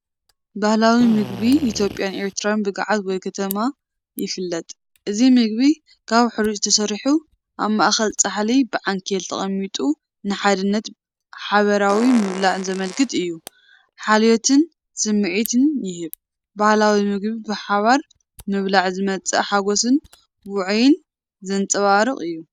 ባህላዊ ምግቢ ኢትዮጵያን ኤርትራን ብገዓት ወይ ከትማ ይፍለጥ። እዚ ምግቢ ካብ ሕሩጭ ተሰሪሑ ኣብ ማእከል ጻሕሊ ብዓንኬል ተቐሚጡ ንሓድነትን ሓባራዊ ምብላዕን ዘመልክት እዩ። ሓልዮትን ስምዒት ይህብ፤ ባህላዊ መግቢ ብሓባር ምብላዕ ዝመጽእ ሓጎስን ውዑይን ዘንጸባርቕ እዩ።